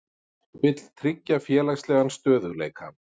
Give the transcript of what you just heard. Vill tryggja félagslegan stöðugleika